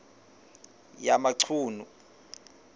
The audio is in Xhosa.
yamachunu